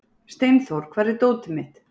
Steinþór, hvar er dótið mitt?